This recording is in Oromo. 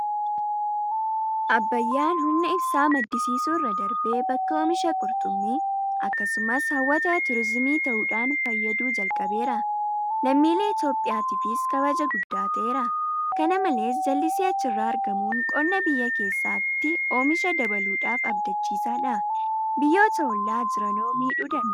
Abbayyaan humna ibsaa maddisiisuu irra darbee bakka oomisha Qurxummii; Akkasumas hawwata turiizimii ta'uudhaan fayyaduu jalqabeera. Lammiilee Itoophiyaatiifis kabaja guddaa ta'eera. Kana malees Jallisii achi irraa argamuun qonna biyyaa keessaatti oomisha dabaluudhaaf abdachiisaadha. Biyyoota hollaa jiranoo miidhuu danda'aa?